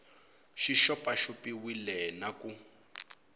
xi xopaxop iwile na ku